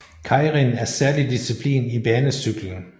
Keirin er særlig disciplin i banecykling